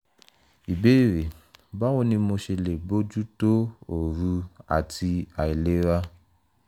ìbéèrè: báwo ni mo ṣe lè bójú tó òru àti àìlera?